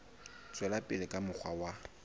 tswela pele ka mokgwa wa